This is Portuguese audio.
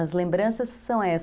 As lembranças são essas.